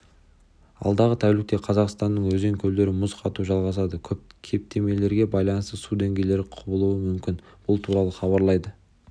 алдағы тәулікте қазақстанның өзен-көлдерінде мұз қату жалғасады кептемелерге байланысты су деңгейі құбылуы мүмкін бұл туралы хабарлайды